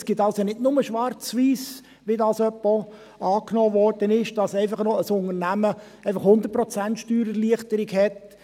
Es gibt also nicht nur schwarz und weiss, wie dies manchmal angenommen wurde, wonach ein Unternehmen einfach 100 Prozent Steuererleichterung hat.